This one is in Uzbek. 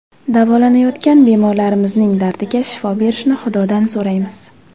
Davolanayotgan bemorlarimizning dardiga shifo berishini Xudodan so‘raymiz.